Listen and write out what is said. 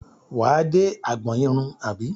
Wà á dé agbọn irun àbí?